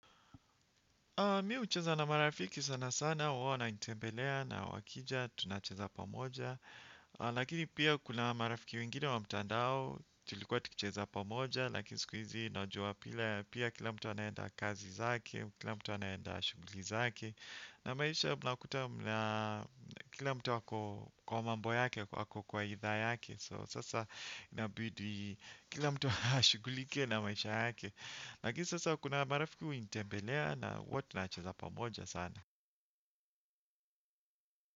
Mi ucheza na marafiki sana sana, wao wananitembelea na wakija, tunacheza pamoja. Lakini pia kuna marafiki wengine wa mtandao, tulikuwa tukicheza pamoja, lakini siku hizi najua pila, pia kila mtu anaenda kazi zake, kila mtu anaenda shuguli zake. Na maisha mnakuta mna, kila mtu wako kwa mambo yake, wako kwa idhaa yake. So sasa inabidii kila mtu ashugulike na maisha yake. Lakini sasa kuna marafiki hunitembelea na huwa tunacheza pamoja sana.